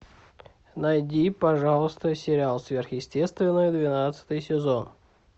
найди пожалуйста сериал сверхъестественное двенадцатый сезон